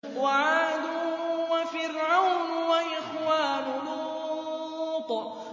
وَعَادٌ وَفِرْعَوْنُ وَإِخْوَانُ لُوطٍ